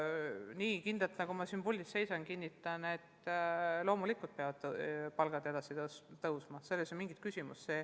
Nii kindlalt, nagu ma siin puldis seisan, kinnitan, et loomulikult peavad palgad tõusma, selles ei ole mingit küsimust.